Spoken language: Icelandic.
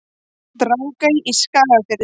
Drangey í Skagafirði.